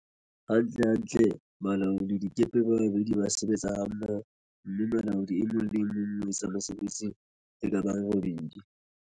Hantlentle, balaoladikepe ba babedi ba sebetsa hammo ho, mme molaodi e mong le e mong o etsa mesebetsi e ka bang e robedi.